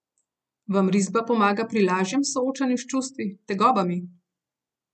Vam risba pomaga pri lažjemu soočanju s čustvi, tegobami?